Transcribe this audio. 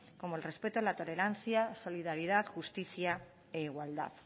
como el respeto la tolerancia solidaridad justicia e igualdad